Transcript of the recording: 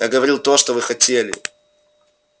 я говорил то что вы хотели